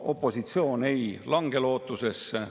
Opositsioon ei lange lootusetusesse.